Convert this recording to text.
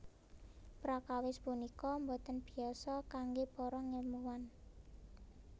Prakawis punika boten biasa kanggé para ngèlmuwan